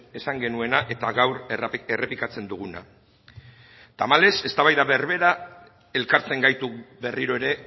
esan genuena eta gaur errepikatzen duguna tamalez eztabaida berberak elkartzen gaitu berriro ere